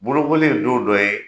Bolokoli ye don dɔ ye